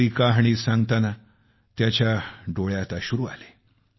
आपली गोष्ट सांगताना त्याच्या डोळ्यात अश्रू आले